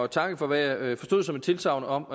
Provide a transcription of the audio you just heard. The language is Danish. takke for hvad jeg forstod som et tilsagn om